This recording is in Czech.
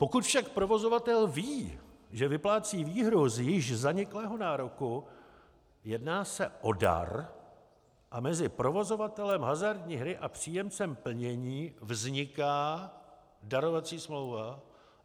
Pokud však provozovatel ví, že vyplácí výhru z již zaniklého nároku, jedná se o dar a mezi provozovatelem hazardní hry a příjemcem plnění vzniká darovací smlouva.